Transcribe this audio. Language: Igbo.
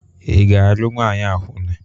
Ị ga-alụ nwanyị akwụna?